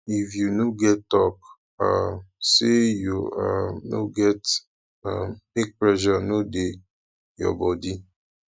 if you no get talk um say you um no get um make pressure no de your body